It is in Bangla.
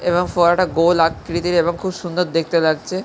এবং ফোয়ারাটা গোল আকৃতির এবং খুব সুন্দর দেখতে লাগছে।